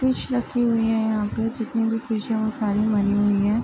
Fish रखी हुई हैं यहाँ पे जितनी भी फिश हैं वो सारी मरी हुई हैं।